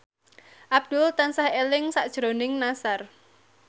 Abdul tansah eling sakjroning Nassar